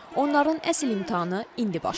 Onların əsl imtahanı indi başlayır.